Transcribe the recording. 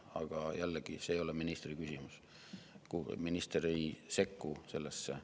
Aga jällegi, see ei ole ministri küsimus, minister ei sekku sellesse.